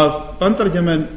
að bandaríkjamenn